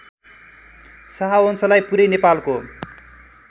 शाहवंशलाई पुरै नेपालको